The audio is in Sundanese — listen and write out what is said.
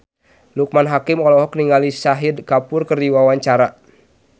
Loekman Hakim olohok ningali Shahid Kapoor keur diwawancara